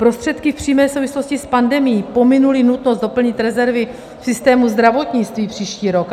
Prostředky v přímé souvislosti s pandemií pominuly nutnost doplnit rezervy v systému zdravotnictví příští rok.